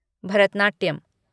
Bharatanatyam